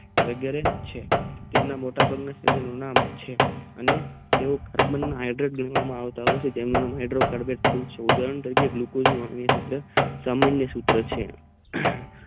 અતેયારે તમનાં દારા બરાબર નામે છે અને ટવો કાર્બન હેડેટ કરવામાં આવે છે તેમનો હાઈડેટ ગણવામાં આવે છે ઉદાહરણ તરીકે ગુલોકજ ના પાણી ના છે હમ